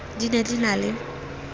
di ne di na le